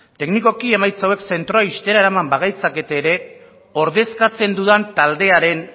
teknikoki emaitza hauek zentro ixtera bagaitzakete ere ordezkatzen dudan taldearen